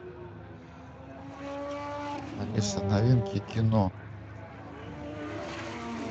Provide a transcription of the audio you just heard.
алиса новинки кино